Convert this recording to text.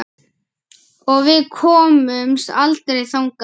Og við komumst aldrei þangað.